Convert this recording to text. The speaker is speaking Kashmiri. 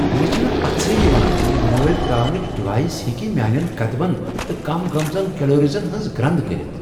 مےٚ چھنہٕ پژھٕے یوان ز یہ نٲلۍ تراونچ ڈیوایس ہیٚکہ میانین قدمن تہٕ کم گٔمژن کیلاریزن ہنز گرند کٔرِتھ۔